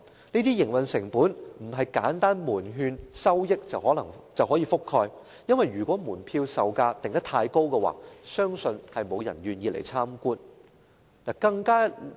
這些營運成本並非門券收益可以覆蓋，因為如果門票售價定得太高，相信沒有人願意參觀。